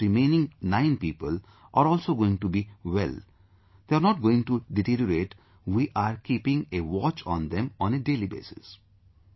And those remaining 9 people are also going to be well, they are not going to deteriorate, we are keeping a watch on them on a daily basis